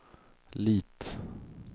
Lit